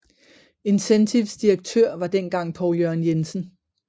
Incentives direktør var dengang Poul Jørgen Jensen